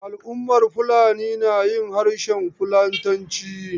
Al'ummar Fulani na yin harshen fulatanci.